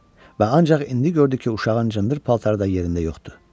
Və ancaq indi gördü ki, uşağın cındır paltarı da yerində yoxdur.